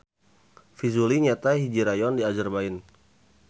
Fizuli nyaeta hiji rayon di Azerbaijan.